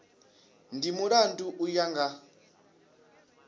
ndi mulandu u ya nga